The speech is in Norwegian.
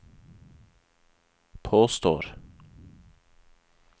påstår